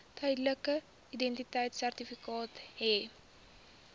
tydelike identiteitsertifikaat hê